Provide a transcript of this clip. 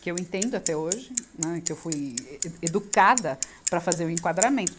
que eu entendo até hoje, né, que eu fui e, educada para fazer o enquadramento.